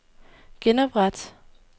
genopret